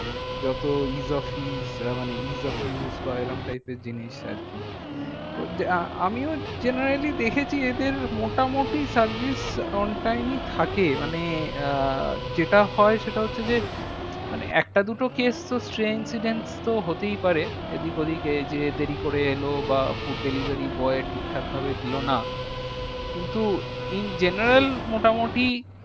মানে একটা দুটো case তো তো হতেই পারে এদিক ওদিক এ যে দেরি করে এলো বা food delivery boy ঠিকঠাক ভাবে দিলো না। কিন্তু in general মোটামুটি